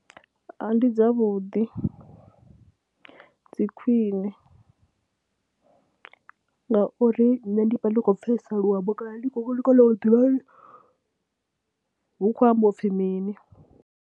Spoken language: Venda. Ndi dzavhuḓi, dzi khwine ngauri nṋe ndi vha ḽi khou pfhesesa luambo kana ndi khou kona u ḓivha uri hu khou ambiwa u pfhi mini.